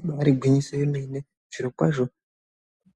Ibaari gwinyiso yemene, zvirokwazvo